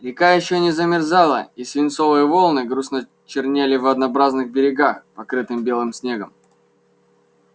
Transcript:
река ещё не замерзала и свинцовые волны грустно чернели в однообразных берегах покрытым белым снегом